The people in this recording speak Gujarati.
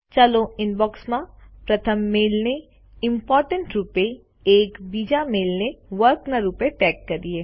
ચાલો ઇનબોક્ષમાં પ્રથમ મેઈલને ઇમ્પોર્ટન્ટ રૂપે અને બીજા મેઈલ ને વર્ક ના રૂપે ટેગ કરીએ